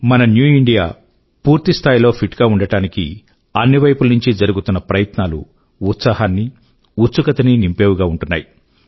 మన new India పూర్తి స్థాయి లో ఫిట్ గా ఉండడానికి అన్నివైపుల నుండీ జరుగుతున్న ప్రయత్నాలు ఉత్సాహాన్నీ ఉత్సుకతనీ నింపేవిగా ఉంటున్నాయి